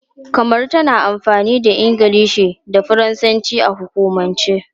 Kamaru tana amfani da Ingilishi da Faransanci a hukumance.